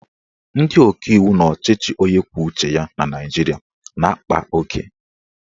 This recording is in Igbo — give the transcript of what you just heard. Ndị ọkaiwu n'ọchịchị onye kwuo uche ya na Naijiria na-akpa oke